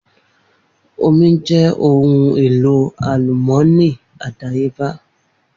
Omi jẹ́ ohun èlò àlùmọ́ọ́nì àdáyébá